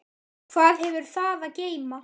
Hvað hefur það að geyma?